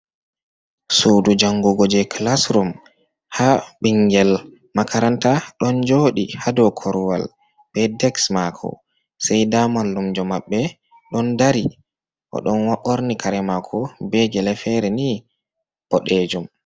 Suudu jangugo je kilasrum ha ɓingel makaranta ɗon joɗi hadau korwal be deks mako se da mallumjo maɓɓe ɗon dari o ɗon ɓorni kare mako begele fere ni ɓoɗejum.